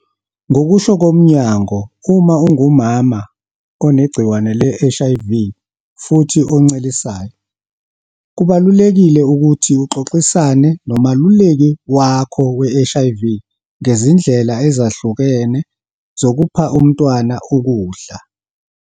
Ngokusho komnyango, uma ungumama onegciwane le-HIV futhi oncelisayo, kubalulekile ukuthi uxoxisane nomeluleki wakho we-HIV ngezindlela ezehlukene zokupha umntwana ukudla.